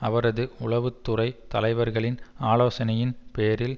அவரது உளவு துறை தலைவர்களின் ஆலோசனையின் பேரில்